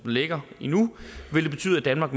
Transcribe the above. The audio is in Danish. ligger i nu vil det betyde at danmark